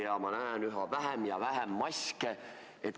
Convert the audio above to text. Ja ma näen üha vähem ja vähem maske.